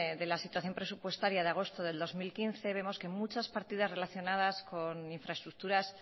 de la situación presupuestaria de agosto de dos mil quince vemos que muchas partidas relacionadas con infraestructuras